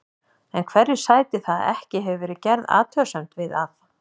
En hverju sætir það að ekki hefur verið gerð athugasemd við það að